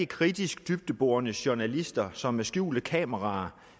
kritisk dybdeborende journalister som med skjulte kameraer